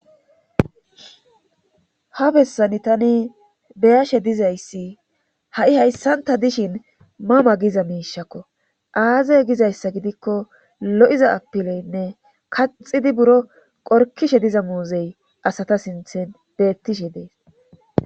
Ha bessani tani beyashe dizayssi ha'i hayssanta dishin mama giza miishakko aazey gizayssa gidikko lo'iza apileynne kaxidi buro qorkishe diza muuzey asata sinthen beettishe dees.